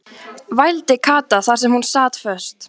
vældi Kata þar sem hún sat föst.